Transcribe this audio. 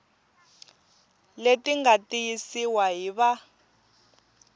leti nga tiyisiwa hi va